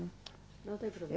Não tem problema